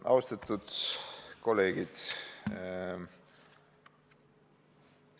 Austatud kolleegid!